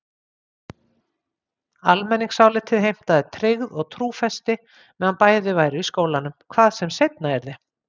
Almenningsálitið heimtaði tryggð og trúfesti meðan bæði væru í skólanum, hvað sem seinna yrði.